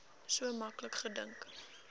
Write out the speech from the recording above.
so maklik gedink